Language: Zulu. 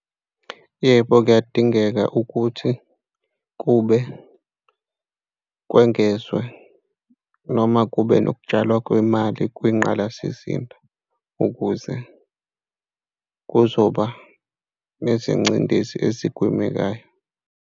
Yebo, kuyadingeka ukuthi kube, kwengezwe noma kube nokutshalwa kwemali kwingqalasizinda ukuze kuzoba nezingcindezi ezigwemekayo.